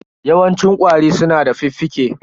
Yawancin ƙwari su na da fuffuke.